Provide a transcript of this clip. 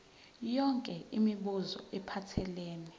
yonke imibuzo ephathelene